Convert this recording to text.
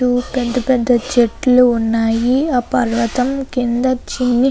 పెద్ద పెద్ద చెట్లు ఉన్నాయి ఆ పర్వతం కింద చిన్ని --